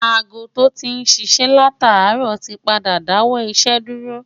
aago tó tí ń ṣiṣẹ́ látàárọ̀ ti padà dáwọ́ iṣẹ́ dúró